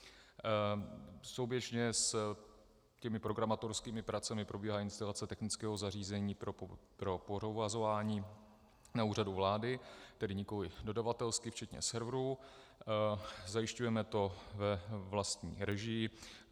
Souběžně s těmi programátorskými pracemi probíhá instalace technického zařízení pro provozování na Úřadu vlády, tedy nikoliv dodavatelsky, včetně serverů, zajišťujeme to ve vlastní režii.